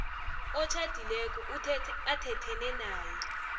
otjhadileko athethene naye